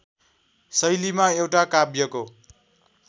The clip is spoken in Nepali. शैलीमा एउटा काव्यको